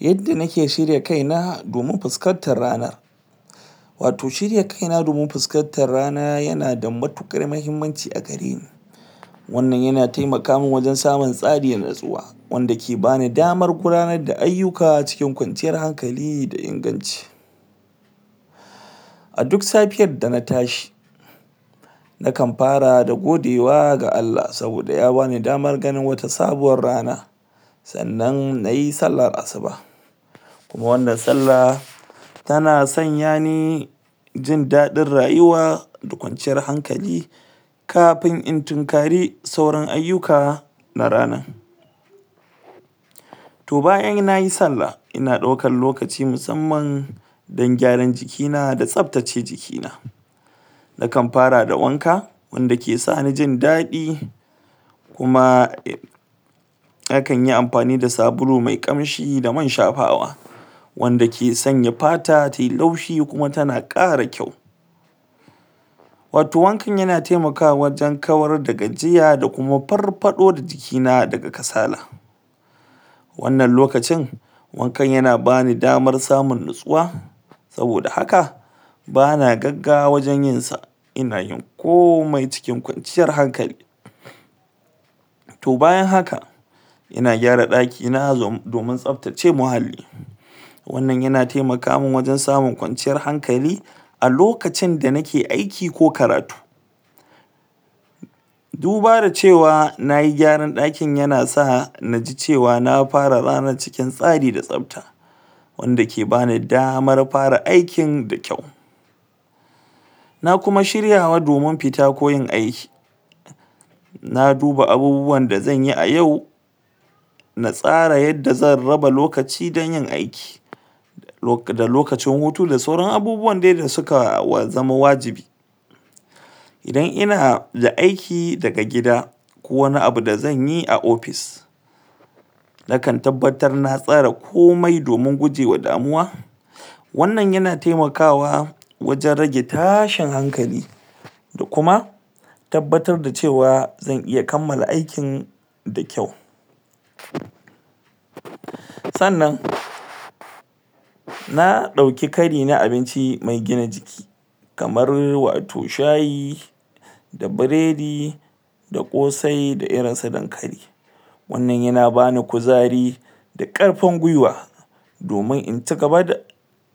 yadda nike shirya kaina domin fuskantar rana wato shirya kaina domin fuskantar rana yana da matukar muhimmancia gareni wannan yana taimaka man wajen samun tsari da natsuwa wanda ke bani damar gudanar da ayuka cikin kwanciyar hankali da inganci a duk safiyar dana tsahi na kan fara da godewa ga ALLAH saboda ya bani damar ganin wata sabuwar rana sannan nayi sallar asuba kuma wannan salla tana sanya ni jin dadin rayuwa da kwanciyar hankali kafin in tunkari sauran ayuka na ranan to bayan nayi sallah ina daukan lokaci musamman don gyaran jikina da tsabtace jikina na kan fara da wanka wanda ke sani jin dadi kuma nakanyi amfani da sabulu mai kamshi da man shafawa wanda ke sanya fata tayi laushi kuma tana kara kyau wato wankan yana taimakawa wajen kawar da gajiya da kuma farfado da jikina daga kasala wannan lokacin wankan yana bani damar samun natsuwa saboda haka bana gaggawa wajen yinsa ina yin komai cikin kwanciyar hankali to bayan haka ina gyara daki na domin tsabtace mahalli wannan yana taimaka man wajen samun kwanciyar hankali a lokacin da nike aiki ko karatu duba da cewa nayi gyaran dakin yana sa naji cewa na fara ranar cikin tsari da tsabta wanda ke bani damar fara aikin da kyau na kuma shirya domin fita ko yin aiki na duba abubuwan da zanyi a yau na tsara yadda zan raba lokaci domin yin aiki da lokacin hutu da sauran abubuwan dai da suka zama wajibi nidan ina da aiki daga gida ko wani abu da zanyi a ofis nakan tabbabtar na tsara komi domin guje ma damuwa wannan yana taimakawa wajen rage tashin hankali da kuma tabbatar da cewa zan iya kammala ikin da kyau sannan na dauki kari na abinci mai gina jiki kamar wato shayi da biredi da kosai da irin su dankali wannan yana bani kuzarida karfi gwiwa domin in cigaba da